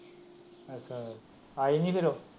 ਅੱਛਾ, ਆਏ ਨਹੀਂ ਫਿਰ।